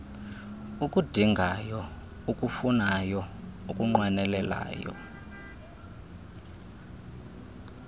ukudingayo ukufunayo ukunqwenelayo